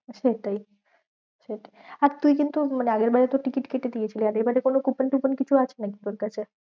সেটাই সেটাই আর তুই কিন্তু মানে আগের বারে তো টিকিট কেটে দিয়েছিলি। আর এবারে কোনো coupon টুপন কিছু আছে নাকি তোরকাছে?